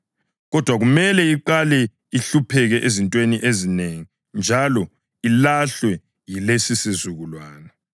Kodwa kumele iqale ihlupheke ezintweni ezinengi njalo ilahlwe yilesisizukulwane.